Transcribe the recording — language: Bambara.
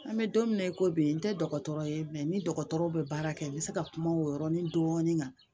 An bɛ don min na i ko bi n tɛ dɔgɔtɔrɔ ye ni dɔgɔtɔrɔw bɛ baara kɛ u bɛ se ka kuma o yɔrɔnin dɔɔnin kan